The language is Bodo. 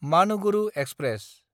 मानुगुरु एक्सप्रेस